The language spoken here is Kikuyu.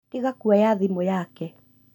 Tĩga kũoya thimũ yake